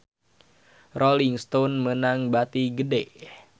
Rolling Stone meunang bati gede